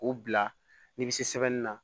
K'u bila ni seli la